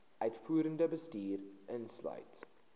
uitvoerende bestuur insluit